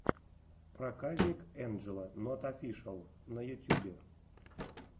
проказник энджело нот офишиал на ютюбе